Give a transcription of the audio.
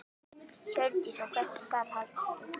Hjördís: Og hvert skal haldið?